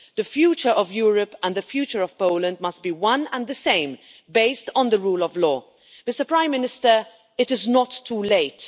The future of Europe and the future of Poland must be one and the same based on the rule of law. Prime Minister, it is not too late.